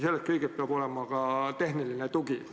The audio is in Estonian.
Selleks kõigeks peab olema tehniline tugi.